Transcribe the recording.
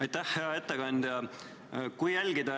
Aitäh, hea ettekandja!